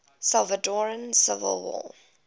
salvadoran civil war